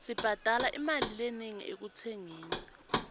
sibhadale imali lenengi ekutsengeni